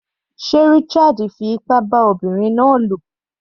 Sé Richard fi ipá bá ọmọbinrin náà lò?